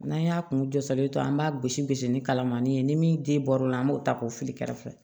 N'an y'a kun jɔ salen to an b'a gosi gosi ni kalamani ye ni min den bɔr'o la an b'o ta k'o fili kɛrɛfɛ